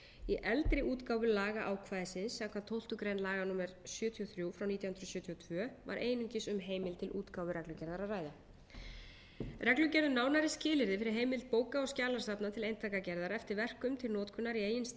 í eldri útgáfu lagaákvæðisins samkvæmt tólftu grein laga númer sjötíu og þrjú nítján hundruð sjötíu og tvö var einungis um heimild til útgáfu reglugerðar að ræða reglugerð um nánari skilyrði fyrir heimild bóka og skjalasafna til eintakagerðar eftir verkum til notkunar í